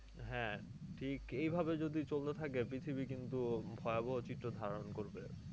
হ্যাঁ ঠিক এইভাবে যদি চলতে থাকে পৃথিবী কিন্তু ভয়াবহ চিত্র ধারণ করবে।